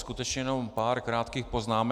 Skutečně jenom pár krátkých poznámek.